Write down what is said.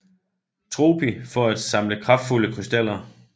Tropy for at samle kraftfulde krystaller